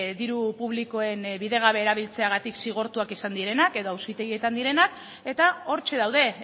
diru publikoen bidegabe erabiltzeagatik zigortuak izan direnak edo auzitegietan direnak eta hortxe daude